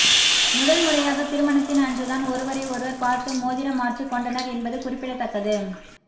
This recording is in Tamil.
முதல் முறையாக திருமணத்தின் அன்றுதான் ஒருவரை ஒருவர் பார்த்து மோதிரம் மாற்றிக் கொண்டனர் என்பது குறிப்பிடத்தக்கது